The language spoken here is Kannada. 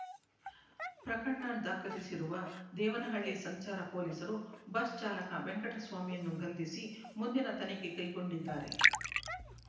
ಪ್ರಕರಣ ದಾಖಲಿಸಿರುವ ದೇವನಹಳ್ಳಿ ಸಂಚಾರ ಪೊಲೀಸರು ಬಸ್ ಚಾಲಕ ವೆಂಕಟಸ್ವಾಮಿಯನ್ನು ಬಂಧಿಸಿ ಮುಂದಿನ ತನಿಖೆ ಕೈಗೊಂಡಿದ್ದಾರೆ